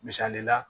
Misali la